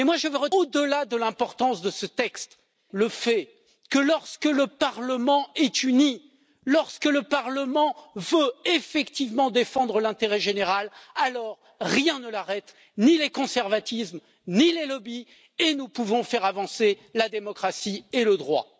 Mais au delà de l'importance de ce texte, je veux retenir une chose lorsque le Parlement est uni, lorsque le Parlement veut effectivement défendre l'intérêt général, alors rien ne l'arrête ni les conservatismes, ni les lobbies et nous pouvons faire avancer la démocratie et le droit.